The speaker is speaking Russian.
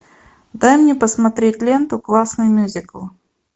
дай мне посмотреть ленту классный мюзикл